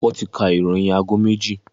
Wọ́n ti ka ìròyìn aago méjì.